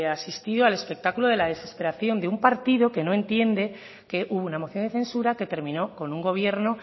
asistido al espectáculo de la desesperación de un partido que no entiende que hubo una moción de censura que terminó con un gobierno